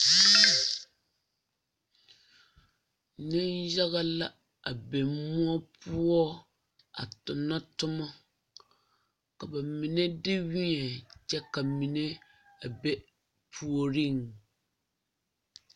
Niŋ yaga la a be muo poɔ a tona toma ka ba mine de weɛ kyɛ ka mine a be a puoriŋ.